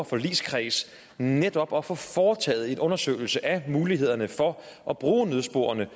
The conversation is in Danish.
forligskreds netop at få foretaget en undersøgelse af mulighederne for at bruge nødsporene